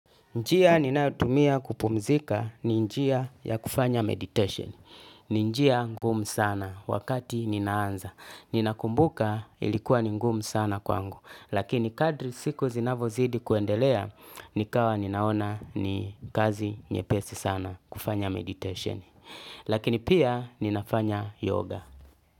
Njia ninayotumia kupumzika ni njia ya kufanya meditation. Ni njia ngumu sana wakati ninaanza. Nina kumbuka ilikuwa ni ngumu sana kwangu. Lakini kadri siku zinavyozidi kuendelea. Nikawa ninaona ni kazi nyepesi sana kufanya meditation. Lakini pia ninafanya yoga.